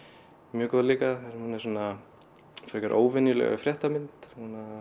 mjög góð líka hún er svona frekar óvenjuleg fréttamynd